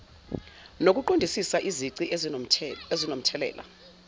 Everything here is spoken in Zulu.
nokuqondisisa izici ezinomthelela